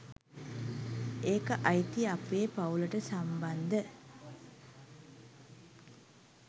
ඒක අයිති අපේ පවුලට සම්බන්ධ